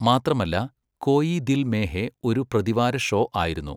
മാത്രമല്ല, കോയി ദിൽ മേ ഹേ ഒരു പ്രതിവാര ഷോ ആയിരുന്നു.